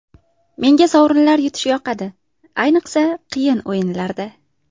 Menga sovrinlar yutish yoqadi, ayniqsa qiyin o‘yinlarda.